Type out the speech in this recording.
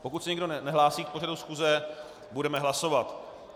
Pokud se nikdo nehlásí k pořadu schůze, budeme hlasovat.